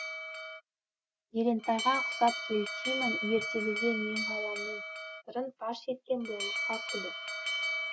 елентайға ұқсап елтимін ертегіге менғаламның сырын паш еткен болыққа күллі